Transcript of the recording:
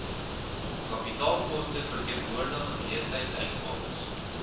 kapitaalkoste verteenwoordig geleentheidsuitgawes